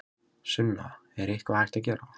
Sunna: Er eitthvað hægt að gera?